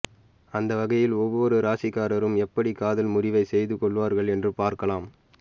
அந்தவகையில் ஒவ்வொரு ராசிக்காரரும் எப்படி காதல் முறிவை செய்து கொள்வார்கள் என்று பார்க்கலாம்